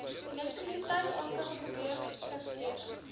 elektrisiteit aankope gebeurlikhede